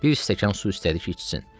Bir stəkan su istədi ki, içsin.